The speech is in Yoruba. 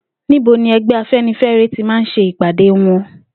Níbo ní e̩gbé̩ Afe̩nifé̩re ti máa ń s̩e ìpàdé wo̩n?